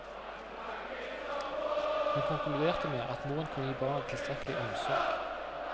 Hun konkluderte med at moren kunne gi barna tilstrekkelig omsorg.